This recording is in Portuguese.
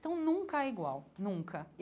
Então nunca é igual, nunca.